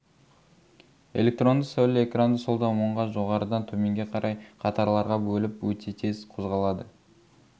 электронды сәуле экранды солдан оңға жоғарыдан төменге қарай қатарларға бөліп өте тез қозғалады